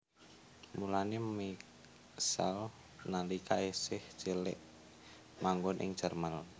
Mulané Michal nalika isih cilik manggon ing Jerman